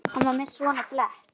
Hann var með svona blett.